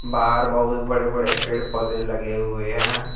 बाहर बहुत बड़े बड़े पेड़ पौधे लगे हुए हैं।